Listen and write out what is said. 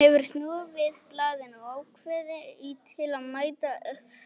Hann hefur snúið við blaðinu og ákveðinn í að mæta öflugur til leiks í sumar.